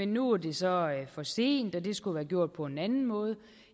nu er det så for sent og at det skulle være gjort på en anden måde